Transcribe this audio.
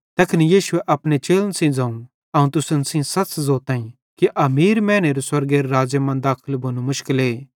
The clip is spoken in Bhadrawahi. तैखन यीशुए अपने चेलन सेइं ज़ोवं अवं तुसन सेइं सच़ ज़ोताईं कि अमीर मैनेरू स्वर्गेरे राज़्ज़े मां दाखल भोनू मुशकले